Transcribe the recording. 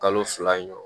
Kalo fila in